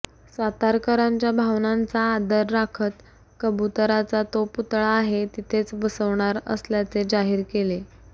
सातारकरांच्या भावनांचा आदर राखत कबुतराचा तो पुतळा आहे तिथेच बसवणार असल्याचे जाहीर केले